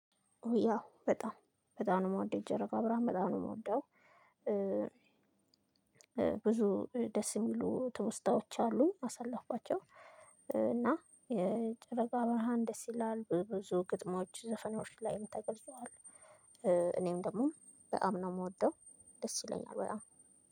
ያው በጣም በጣም ነው የምወደው የጨረቃ ብርሃን በጣም ነው የምወደው ብዙ ደስ የሚሉ ትውስታዎች አሉኝ ያሳለፍኋቸው እና የጨረቃ ብርሃን ደስ ይላል። ብዙ ግጥሞች ዘፈኖች ላይም ተገልጿል። እኔም ደግሞ በጣም ነው የምወደው ደስ ይለኛል። በጣም